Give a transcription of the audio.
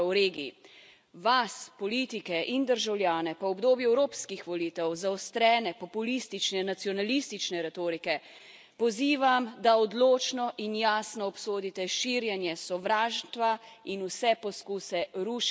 Vas, politike in državljane, pa v obdobju evropskih volitev, zaostrene populistične in nacionalistične retorike pozivam, da odločno in jasno obsodite širjenje sovraštva in vse poskuse rušenja institucij.